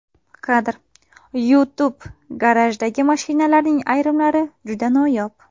Kadr: YouTube Garajdagi mashinalarning ayrimlari juda noyob.